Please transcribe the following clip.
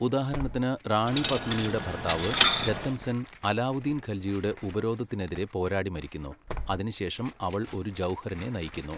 ഉദാഹരണത്തിന്, റാണി പത്മിനിയുടെ ഭർത്താവ് രത്തൻ സെൻ അലാവുദ്ദീൻ ഖൽജിയുടെ ഉപരോധത്തിനെതിരെ പോരാടി മരിക്കുന്നു, അതിനുശേഷം അവൾ ഒരു ജൗഹറിനെ നയിക്കുന്നു.